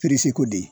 de